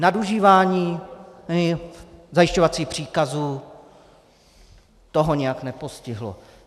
Nadužívání zajišťovacích příkazů, to ho nijak nepostihlo.